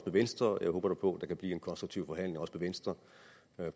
venstre og jeg håber på at kan blive en konstruktiv forhandling venstre